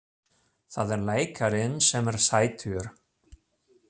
Það er leikarinn sem er sætur!